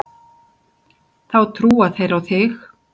Þá trúa þeir á þig.